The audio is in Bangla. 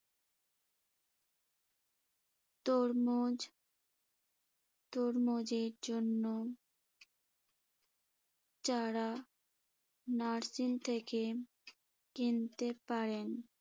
তরমুজ তরমুজের জন্য চারা nursing থেকে কিনতে পারেন।